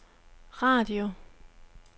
radio